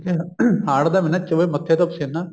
ਠੀਕ ਏ ਹਾੜ੍ਹ ਦਾ ਮਹੀਨਾ ਚੋਵੇ ਮੱਥੇ ਤੋਂ ਪਸੀਨਾ